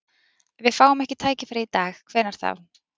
Ef við fáum ekki tækifærið í dag, hvenær þá?